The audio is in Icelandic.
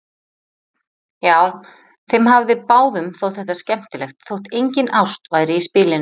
Já, þeim hafði báðum þótt þetta skemmtilegt þótt engin ást væri í spilinu.